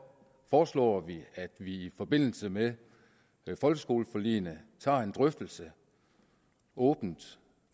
foreslår vi at vi i forbindelse med folkeskoleforligene tager en drøftelse åbent